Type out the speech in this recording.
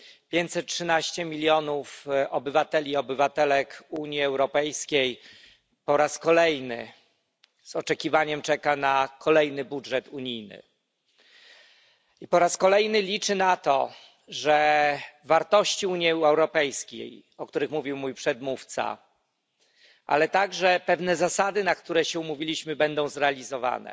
513 milionów obywateli i obywatelek Unii Europejskiej po raz kolejny z niecierpliwością czeka na nowy budżet unijny i po raz kolejny liczy na to, że wartości Unii Europejskiej, o których mówił mój przedmówca, ale także pewne zasady, co do których się umówiliśmy, będą zrealizowane.